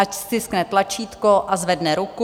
Ať stiskne tlačítko a zvedne ruku.